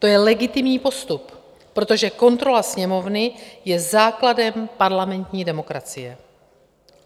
To je legitimní postup, protože kontrola Sněmovny je základem parlamentní demokracie.